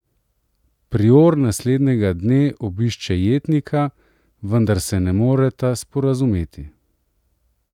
Prior naslednjega dne obišče jetnika, vendar se ne moreta sporazumeti.